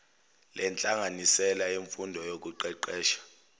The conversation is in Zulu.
lenhlanganisela yemfundo nokuqeqesha